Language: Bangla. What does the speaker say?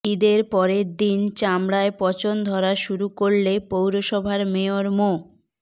ঈদের পরের দিন চামড়ায় পচন ধরা শুরু করলে পৌরসভার মেয়র মো